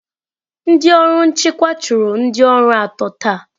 Ndị ọrụ nchịkwa chụrụ ndị ọrụ atọ taa.